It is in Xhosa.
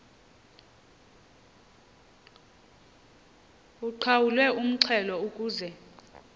uqhawulwe umxhelo ukuze